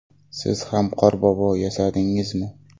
Siz ham qorbobo yasadingizmi?